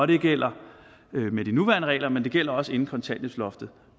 det gælder med de nuværende regler men det gjaldt også inden kontanthjælpsloftet